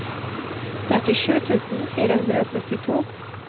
trettisju tusen fire hundre og syttito